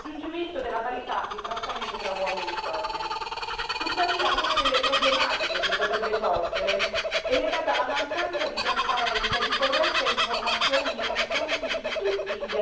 Tuttavia, una delle problematiche che potrebbero sorgere è legata alla mancanza di trasparenza e di corretta informazione nei confronti di tutti gli attori della comunità internazionale, a partire dai cittadini.